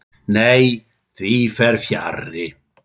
Nei, því fer fjarri.